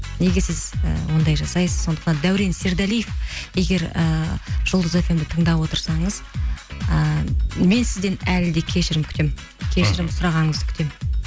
неге сіз і ондай жасайсыз сондықтан дәурен сердалиев егер ііі жұлдыз фм ді тыңдап отырсаңыз ііі мен сізден әлі де кешірім күтемін кешірім сұрағаныңызды күтемін